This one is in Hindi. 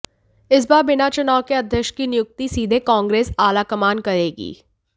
इस बार बिना चुनाव के अध्यक्ष की नियुक्ति सीधे कांग्रेस आला कमान करेगी